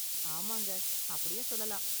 ஆமாங்க, அப்படியும் சொல்லலாம்.